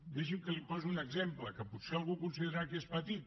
deixi’m que li posi un exemple que potser algú considerarà que és petit